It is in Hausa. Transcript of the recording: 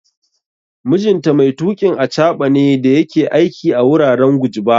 Mijinta mai tuƙin achaɓa ne da yake aiki a wuraren Gujba